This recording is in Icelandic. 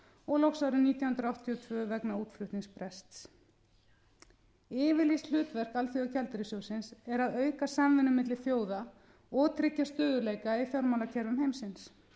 og loks árið nítján hundruð áttatíu og tvö vegna útflutningsbrests yfirlýst hlutverk alþjóðagjaldeyrissjóðsins er að auka samvinnu milli þjóða og tryggja stöðugleika í fjármálakerfum heimsins